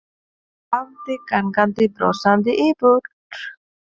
Hún hafði gengið brosandi í burt.